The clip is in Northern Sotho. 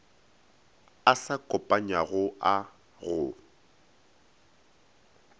a sa kopanywago a go